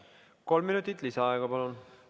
Kolm minutit lisaaega, palun!